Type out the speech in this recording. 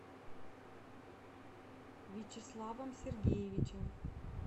вячеславом сергеевичем